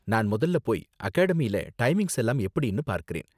நான் முதல்ல போய் அகடாமியில டைமிங்ஸ் எல்லாம் எப்படினு பார்க்கறேன்.